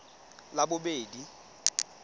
labobedi